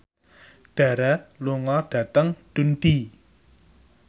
Dara lunga dhateng Dundee